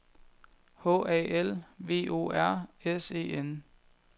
H A L V O R S E N